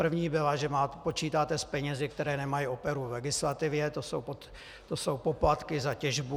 První byla, že počítáte s penězi, které nemají oporu v legislativě, to jsou poplatky za těžbu.